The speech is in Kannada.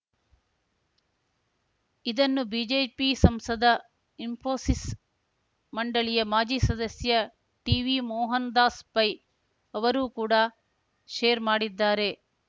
ಇದನ್ನು ಬಿಜೆಪಿ ಸಂಸದ ಇಸ್ಫೋಸಿಸ್‌ ಮಂಡಳಿಯ ಮಾಜಿ ಸದಸ್ಯ ಟಿವಿ ಮೋಹನ್‌ ದಾಸ್‌ ಪೈ ಅವರೂ ಕೂಡ ಶೇರ್‌ ಮಾಡಿದ್ದಾರೆ